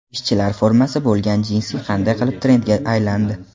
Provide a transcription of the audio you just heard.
Ishchilar formasi bo‘lgan jinsi qanday qilib trendga aylandi?